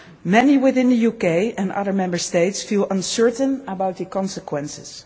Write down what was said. Many within the UK and other Member States feel uncertain about the consequences.